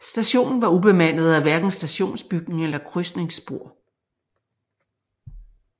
Stationen var ubemandet og havde hverken stationsbygning eller krydsningsspor